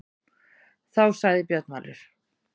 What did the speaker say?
Þá sagði Björn Valur: